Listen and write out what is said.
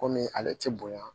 Komi ale tɛ bonya